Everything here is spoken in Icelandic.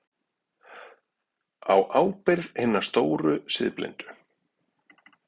Á ábyrgð hinna stóru siðblindu.